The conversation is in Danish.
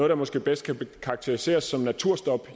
der måske bedst kan karakteriseres som naturstop